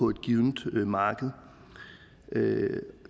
givent marked